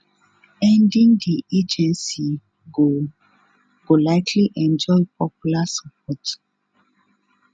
ending di agency go go likely enjoy popular support